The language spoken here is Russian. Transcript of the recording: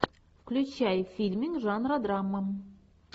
включай фильмик жанра драма